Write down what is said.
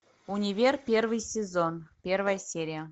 универ первый сезон первая серия